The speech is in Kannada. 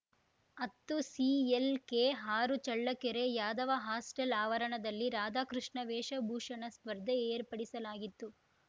ಹತ್ತುಸಿಎಲ್‌ಕೆಆರು ಚಳ್ಳಕೆರೆ ಯಾದವ ಹಾಸ್ಟೆಲ್‌ ಆವರಣದಲ್ಲಿ ರಾಧಾ ಕೃಷ್ಣ ವೇಷಭೂಷಣ ಸ್ಪರ್ಧೆ ಏರ್ಪಡಿಸಲಾಗಿತ್ತು